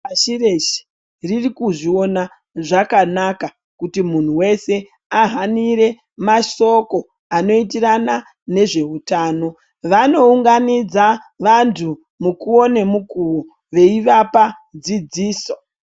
Pasi reshe ririkuzviona zvakanaka kuti munhu wese ahanire mashoko anoitirana nezve utano, vanounganidza vanhu mukuwo nemukuwo veivapa dzidziso.